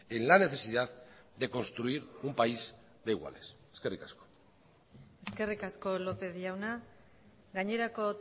en la necesidad de construir un país de iguales eskerrik asko eskerrik asko lópez jauna gainerako